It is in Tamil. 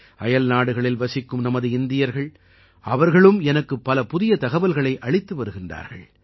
அயல்நாடுகளில் வசிக்கும் நமது இந்தியர்கள் அவர்களும் எனக்குப் பல புதிய தகவல்களை அளித்து வருகின்றார்கள்